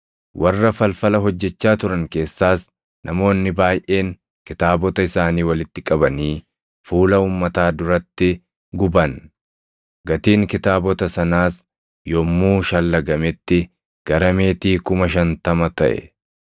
Warra falfala hojjechaa turan keessaas namoonni baayʼeen kitaabota isaanii walitti qabanii fuula uummataa duratti guban; gatiin kitaabota sanaas yommuu shallagametti gara meetii + 19:19 meetii – beesseen meetii tokko mindaa hojjetaan tokko guyyaatti argatuu dha. kuma shantama taʼe.